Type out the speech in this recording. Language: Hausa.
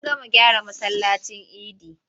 An gama gyara masallacin idi.